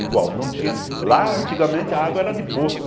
Igual, não tinha... Lá, antigamente, a água era de poço.